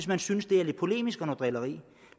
man synes er lidt polemisk og noget drilleri